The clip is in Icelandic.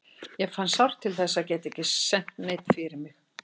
Ég fann sárt til þess að geta ekki sent neinn fyrir mig.